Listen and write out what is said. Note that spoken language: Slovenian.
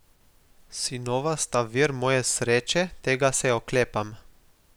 Sinova sta vir moje sreče, tega se oklepam.